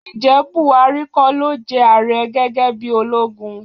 Ǹjẹ́ Bùhárí kọ́ ló jẹ ààrẹ gẹ́gẹ́ bí ológun?